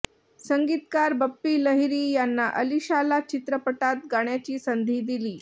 संगीतकार बप्पी लहिरी यांनी अलिशाला चित्रपटात गाण्याची संधी दिली